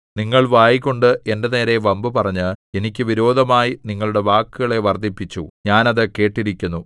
നിങ്ങൾ വായ്കൊണ്ട് എന്റെ നേരെ വമ്പുപറഞ്ഞ് എനിക്ക് വിരോധമായി നിങ്ങളുടെ വാക്കുകളെ വർദ്ധിപ്പിച്ചു ഞാൻ അത് കേട്ടിരിക്കുന്നു